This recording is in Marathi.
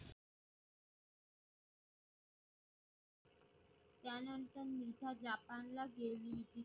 त्यानंतर मिर्झा japan ला गेली.